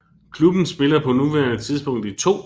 Klubben spiller på nuværende tidspunkt i 2